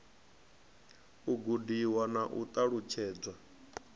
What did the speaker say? u gudiwa na u ṱalutshedzwa